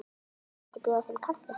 Mætti bjóða þeim kaffi?